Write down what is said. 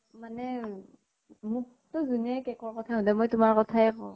মানে মোক তো জোনে cake ৰ কথা কয়, মই তোমাৰ কথায়ে কওঁ